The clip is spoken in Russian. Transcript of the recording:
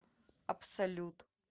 абсолют